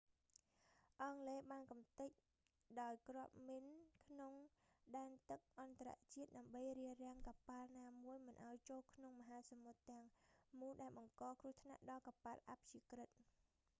អង់គ្លេសបានកម្ទេចដោយគ្រាប់មីនក្នុងដែនទឹកអន្តរជាតិ ដើម្បីរារាំងកប៉ាល់ណាមួយមិនឱ្យចូលក្នុងមហាសមុទ្រទាំងមូលដែលបង្កគ្រោះថ្នាក់ដល់កប៉ាល់អព្យាក្រឹត